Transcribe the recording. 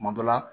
Kuma dɔ la